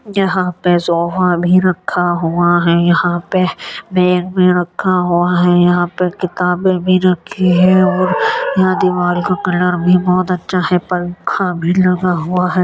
यहाँ पे सोफा भी रखा हुआ है। यहाँ पे बैग भी रखा हुआ है। यहाँ पे किताबे भी रखी है और यहाँ दीवार का कलर भी बहुत अच्छा है पंखा भी लगा हुआ है।